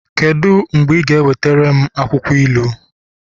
kedu mgbe ị ga-ewetara m akwụkwọ ilu?